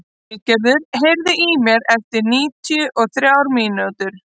Valgerður, heyrðu í mér eftir níutíu og þrjár mínútur.